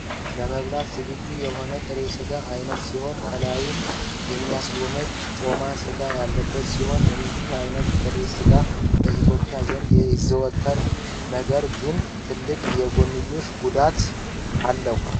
ለመበላት ዝግጁ የሆነ ጥሬ ስጋ አይነት ሲሆን ከላዪም እሚያስጎመጅ ጮማ ስጋ ያለበት ሲሆን እንዲህ አይነት ጥሬ ስጋ በ ኢትዮፕያን ዘንድ ይዘወተራል ነገር ግን ትልቅ የጎንዮሽ ጉዳት አለው።